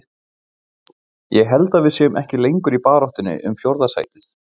Ég held að við séum ekki lengur í baráttunni um fjórða sætið.